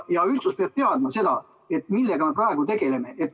Üldsus peab teadma seda, millega me praegu tegeleme.